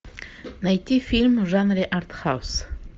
найти фильм в жанре артхаус